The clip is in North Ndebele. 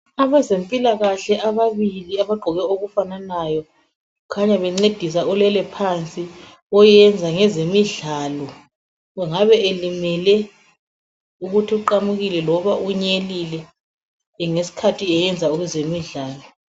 Abezempilakahle ababili abagqoke okufananayo kukhanya bencedisa olele phansi oyenza ngezemidlalo engabe elimele ukuthi uqamukile loba unyelile ngesikhathi eyenza ezemidlalo.